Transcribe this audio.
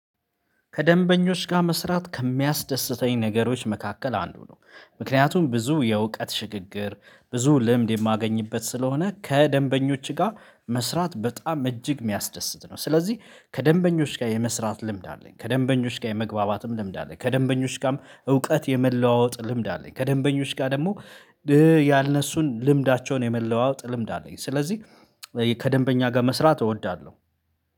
ከደንበኞች ጋር መስራት ከሚያስደስተኝ ነገሮች መካከል አንዱ ነው፤ ምክንያቱም ብዙ የእውቀት ሽግግር ብዙ ልምድ የማገኝበት ስለሆነ ከደንበኞች ጋር መስራት በጣም እጅግ የሚያስደስት ነው ስለዚህ ከደንበኞች ጋር የመስራት ልምድ አለኝ ከደንበኞች ጋር የመግባባትም ልምድ አለኝ ከደንበኞች ጋርም እውቀት የመለዋወጥ ልምድ አለኝ ከደንበኞች ጋር ደግሞ ያነሱን ልምዳቸውን የመለዋወጥ ልምድ አለኝ ስለዚህ ከደንበኛ ጋር መስራት እወዳለሁ።